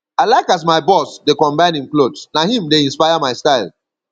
i like as my boss dey combine im clothes na him dey inspire my style